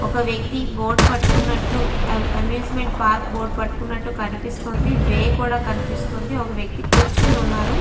ఒక వ్యక్తి బోర్డు పట్టుకున్నట్లు ఆమూసెమెంట్ పార్క్ బోర్డు పట్టుకున్నట్లు కనిపిస్తుంది వే కూడా కనిపిస్తుంది ఒక వ్యక్తి కూర్చొని ఉన్నారు .